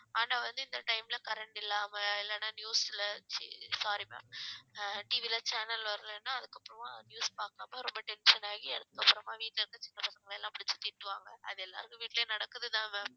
ஆனா வந்து இந்த time ல current இல்லாம இல்லைன்னா news ல செ~ sorry ma'am அ TV ல channel வரலைன்னா அதுக்கப்புறமா news பாக்காம ரொம்ப tension ஆகி அதுக்கு அப்புறமா வீட்ல இருந்து சின்ன பசங்க எல்லாம் புடிச்சு திட்டுவாங்க அது எல்லாருக்கும் வீட்டுலயும் நடக்குதுதான் ma'am